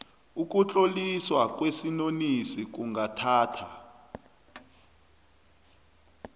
ukutloliswa kwesinonisi kungathatha